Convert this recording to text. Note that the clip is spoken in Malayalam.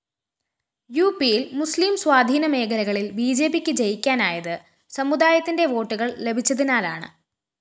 യുപിയില്‍ മുസ്ലിം സ്വാധീനമേഖലകളില്‍ ബിജെപിക്ക് വിജയിക്കാനായത് സമുദായത്തിന്റെ വോട്ടുകള്‍ ലഭിച്ചതിനാലാണ്